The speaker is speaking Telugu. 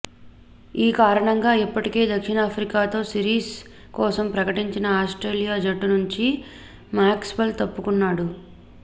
ఈ కారణంగా ఇప్పటికే దక్షిణాఫ్రికాతో సిరీస్ కోసం ప్రకటించిన ఆస్ట్రేలియా జట్టు నుంచి మాక్స్వెల్ తప్పుకున్నాడు